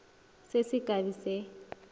se se ka be se